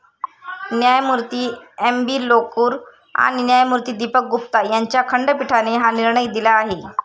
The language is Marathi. न्यायमूर्ती एम. बी. लोकूर आणि न्यायमूर्ती दीपक गुप्ता यांच्या खंडपीठाने हा निर्णय दिला आहे.